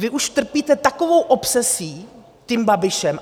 Vy už trpíte takovou obsesí tím Babišem.